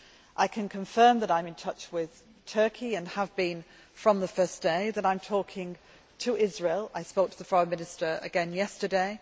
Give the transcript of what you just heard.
I can confirm that I am touch with Turkey and have been from the first day. I am talking to Israel I spoke to the Foreign Minister again yesterday